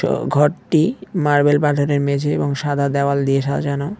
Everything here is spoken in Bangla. আ ঘরটি মার্বেল মেঝে এবং সাদা দেওয়াল দিয়ে সাজানো।